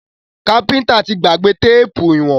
Káfíntà tí gbàgbé téèpù ìwọ̀n.